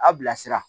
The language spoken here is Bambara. A bilasira